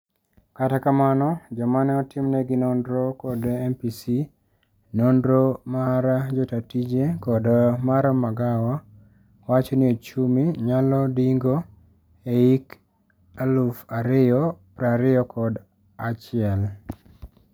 Kata kamano, joma neotimnegi nonro kod MPC, nonro mar jotaatije kod mar magawa, wacho ni ochumi nyalo dingo e hik eluf ario prario kod achiel.